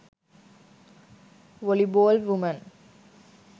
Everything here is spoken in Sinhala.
volleyball woman